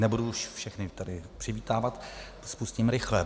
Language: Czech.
Nebudu už všechny tady přivítávat, spustím rychle.